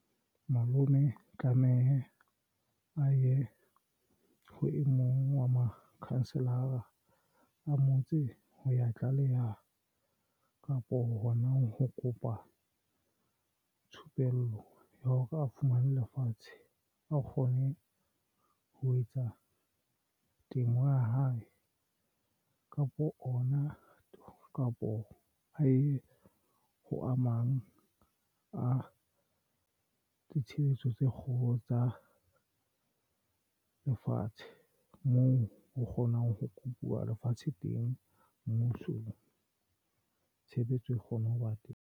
Malome tlameha a ye ho e mong wa makhanselara a motse ho ya tlaleha kapo. Hona ho kopa thupello ya hore a fumane lefatshe a kgone ho etsa temo ya hae kapo ona kapo a ye ho amang a ditshebeletso tse kgolo tsa lefatshe moo o kgonang ho kupuwa lefatshe teng Mmuso tshebetso e kgone ho ba teng.